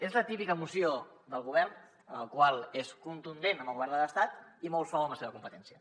és la típica moció del govern la qual és contundent amb el govern de l’estat i molt suau en la seva competència